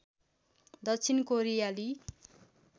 दक्षिण कोरियाली